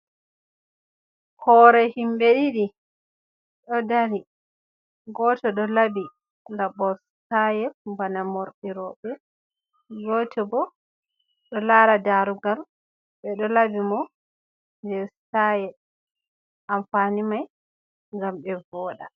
Hore himbe ɗiɗi ɗo dari gote do labi ngabostaye bana morirobe gote bo do lara darugal be do labi mo jestaye amfani mai gam be voɗa.